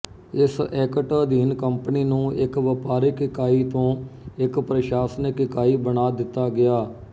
ਇਸ ਐਕਟ ਅਧੀਨ ਕੰਪਨੀ ਨੂੰ ਇੱਕ ਵਪਾਰਿਕ ਇਕਾਈ ਤੋਂ ਇੱਕ ਪ੍ਰਸ਼ਾਸਨਿਕ ਇਕਾਈ ਬਣਾ ਦਿੱਤਾ ਗਿਆ